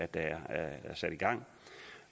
der er sat i gang